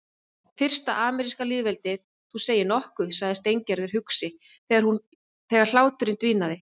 Fyrsta ameríska lýðveldið, þú segir nokkuð sagði Steingerður hugsi þegar hláturinn dvínaði.